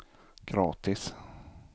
gratis